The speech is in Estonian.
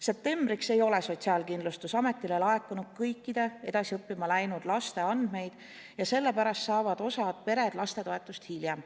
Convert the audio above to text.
Septembriks ei ole Sotsiaalkindlustusametile laekunud kõikide edasi õppima läinud laste andmeid ja sellepärast saavad osa peresid lastetoetust hiljem.